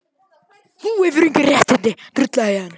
Kristján Már: En þetta getur líka orðið vonbrigði?